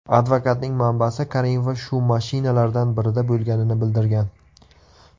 Advokatning manbasi Karimova shu mashinalardan birida bo‘lganini bildirgan.